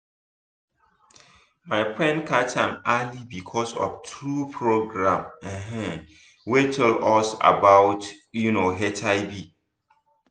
my friend catch am early because of true program um wey tell us about um hiv.